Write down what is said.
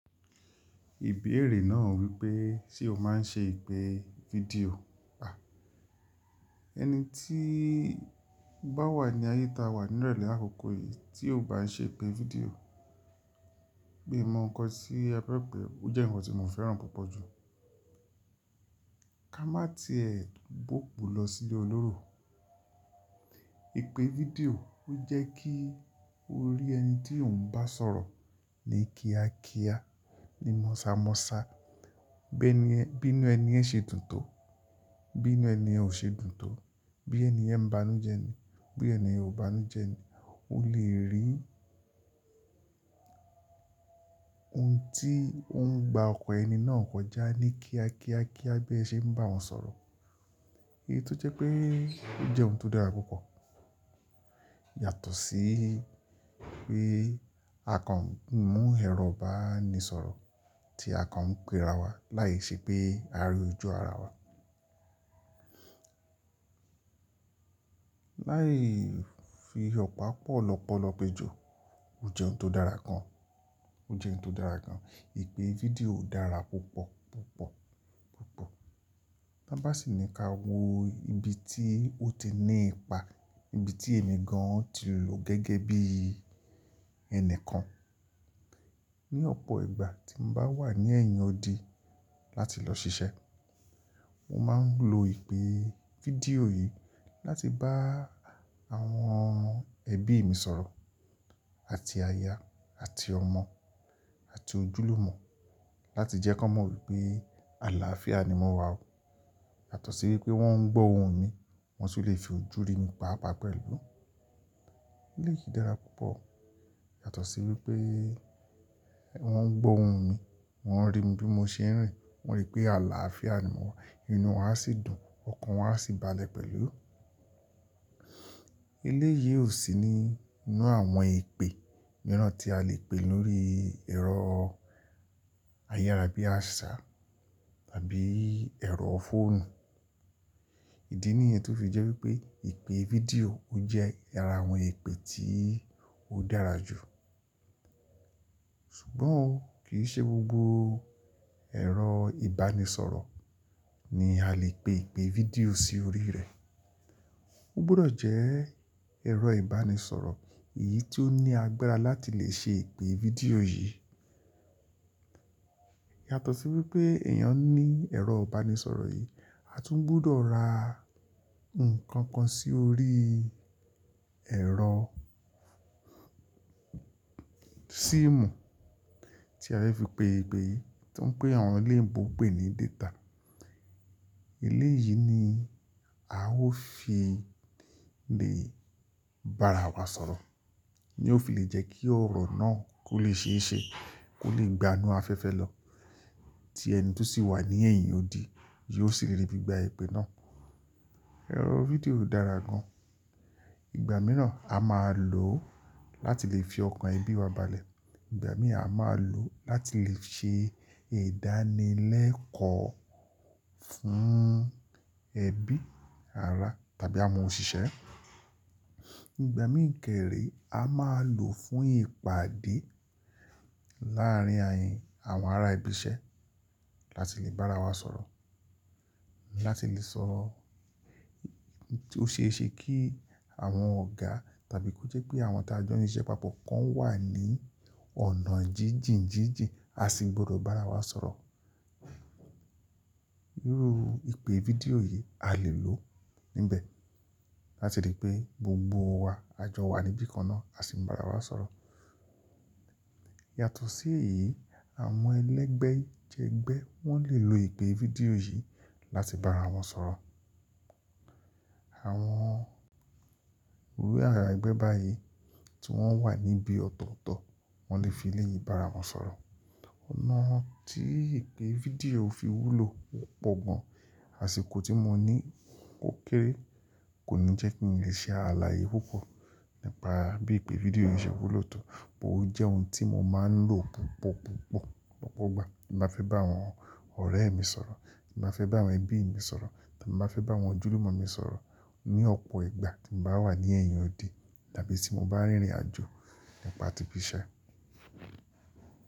Ìbéèrè náà wípé, ṣe o máa ń ṣe ìpè fídíò? À, ẹni tíí bá wà ní ayé ta wà nírọ̀lẹ́ àkọ́kọ́ yìí tí ò bá ń ṣe ìpè fídíò, mi mọ́ ǹkan tí ẹ fẹ́ pè é, ó jẹ́ ǹkan tí mo fẹ́ràn púpọ̀ jù. Ka má ti ẹ bóòbù lọ sí ilé olóró. Ìpè fídíò ó jẹ́ kí o rí ẹni tí ò ń bá sọ̀rọ̀ ní kíákíá, ní mọ́ṣàmọ́ṣá, bí nu ẹniyen ṣe dùn tó, bí inu ẹniyen ò ṣe dùn tó, bí ẹni yẹń bá nu jẹni, bí ẹni yẹn ò bá nu jẹni. O lè rí ohun tí ó ń gba ọkọ ẹni náà kọjá ní kíá kíá kíá bí ẹ ṣe ń bá wọn sọ̀rọ̀. Èyí tó jẹ́ pé ó jẹ́ ohun tó dára púpọ̀. Yàtọ̀ sí pé a kàn mú ẹ̀rọ ìbánisọ̀rọ̀ tí a kàn ń pe ra wá láìṣẹ pé a rí ojú ara wa. Láì fi ọ̀pá pọ̀ lọ́pọ̀lọ́po ejọ, ó jẹ́ ohun tó dára gan. Ó jẹ́ ohun tó dára gan. Ìpè fídíò dára púpọ̀, púpọ̀, púpọ̀. Tá bá sì ní ka wo ibi tí ó ti ní ipa, ibi tí ẹmi gan ti lò gẹ́gẹ́ bí ẹni kan. Ni ọ̀pọ̀ ìgbà tí n bá wà ní ẹ̀yìn odi láti lọ ṣiṣẹ́, mo máa ń lo ìpè fídíò yìí láti bá àwọn ẹbí mi sọ̀rọ̀ àti aya àti ọmọ àti ojúlùmọ̀ láti jẹ́ kan mọ̀ wípé àlàáfíà ni mo wà o. Yàtọ̀ sí wípé wọ́n ń gbọ́ ohùn mi, wọ́n tun lè fi ojú rí mi paapaa pẹ̀lú. Eléyìí dára púpọ̀ yàtọ̀ sí wípé wọ́n ń gbọ́ ohùn mi, wọ́n rí mi bí mo ṣe ń rìn, wọ́n rí pé àlàáfíà ni mo wà. Inú wa á sì dùn, ọkàn wa á sì balẹ̀ pẹ̀lú. Eléyìí ò sí nínú àwọn ìpè mìíràn tí a lè pè lórí ẹ̀rọ ayára bí àṣá tàbí ẹ̀rọ fóònù. Ìdí nìyẹn tó fi jẹ́ wípé ìpè fídíò ó jẹ́ ara àwọn ìpè tí ó dára jù. Ṣùgbọ́n o kì í ṣe gbogbo ẹ̀rọ ìbánisọ̀rọ̀ ni a lè pe ìpè fídíò sí orí rẹ̀. Ó gbọdọ̀ jẹ́ ẹ̀rọ ìbánisọ̀rọ̀ èyí tí ó ní agbára láti lè ṣe ìpè fídíò yìí. Yàtọ̀ sí wípé èèyàn ní ẹ̀rọ ìbánisọ̀rọ̀ yìí, a tún gbudọ̀ ra nǹkan kan sí orí ẹ̀rọ síìmù tí a fẹ́ fi pe ìpè yìí tí ń pè àwọn eléyin ebò pè ní data. Ilé yìí ni a ó fi lè bá ara wa sọ̀rọ̀. Ni ó fi lè jẹ́ kí ọ̀rọ̀ náà kó lè ṣe é ṣe, kó lè gbanú afẹ́fẹ́ lọ tí ẹni tí ó sì wà ní ẹ̀yìn odi yóò sì lè rí bí i gba ìpè náà. Ẹ̀rọ fídíò dára gan. Ìgbà mìíràn a máa lò ó láti lè fi ọkàn ẹbí wa balẹ̀. Ìgbà míì a máa lò ó láti lè ṣe ìdánilẹ́kọ̀ọ́ fún ẹbí, ará tàbí àwọn òṣìṣẹ́. Ìgbà míì kẹ́rè a máa lò ó fún ìpàdé láàárín àwọn ará ibi iṣẹ́ láti lè bá ara wa sọ̀rọ̀. Láti lè sọ̀rọ̀ tí ó ṣe é ṣe kí àwọn ọ̀gá tàbí kó jẹ́ pé àwọn ta n jọ siṣẹ́ papọ̀ kan wà ní ọ̀nà jíjìn jíjìn, a sì gbọdọ̀ bá ara wa sọ̀rọ̀. Irú ìpè fídíò yìí a lè lò níbẹ̀ láti lè pé gbogbo wa, a jọ wà níbí kan náà, a sì ń bá ara wa sọ̀rọ̀. Yàtọ̀ sí èyí, àwọn ẹlẹ́gbẹ́ jẹgbẹ́ wọ́n lè lo ìpè fídíò yìí láti bá ara wọn sọ̀rọ̀. Àwọn, iru awon ẹgbẹ́ báyìí tí wọ́n wà níbí ọ̀tọ̀ọ̀tọ̀, wọ́n lè fi ilé yìí bá ara wọn sọ̀rọ̀. Ọ̀nà tí ìpè fídíò fi wúlò pọ̀ gan. Àṣìkò tí mo ní kókéré kò ní jẹ́ kí n lè ṣe ààlà yìí púpọ̀ nípa bí ìpè fídíò yìí ṣe wulò tò. Ó jẹ́ ohun tí mo máa ń lò púpọ̀, púpọ̀, púpọ̀, lopo gbà tí mo fẹ́ bá àwọn ọ̀rẹ́ mi sọ̀rọ̀, tí mo fẹ́ bá àwọn ẹbí mi sọ̀rọ̀, tí mo fẹ́ bá àwọn ojúlùmọ̀ mi sọ̀rọ̀ ní ọ̀pọ̀ ìgbà tí n bá wà ní ẹ̀yìn odi tàbí tí mo bá rìnrìn àjò nípa ti bí ise.